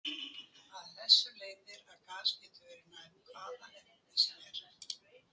Af þessu leiðir að gas getur verið nær hvaða efni sem er.